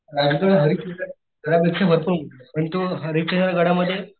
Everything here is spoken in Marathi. राजगड हरिश्चंद्र गड पेक्षा भरपूर उंच पण तो हरिश्चंद्र गडामधे